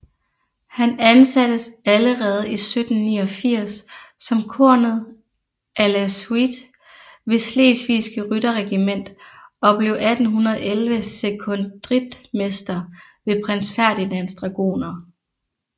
Han ansattes allerede 1789 som kornet à la suite ved Slesvigske Rytterregiment og blev 1811 sekondritmester ved Prins Ferdinands Dragoner